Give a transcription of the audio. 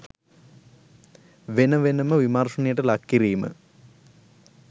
වෙන වෙනම විමර්ශනයට ලක් කිරීම